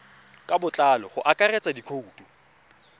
ka botlalo go akaretsa dikhoutu